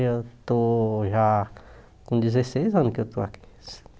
Eu estou já com dezesseis anos que eu estou aqui.